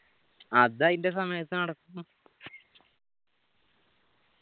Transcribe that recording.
അത് ആയിന്റ സമയത്ത് നടക്കും